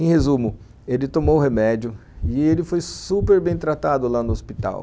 Em resumo, ele tomou o remédio e ele foi super bem tratado lá no hospital.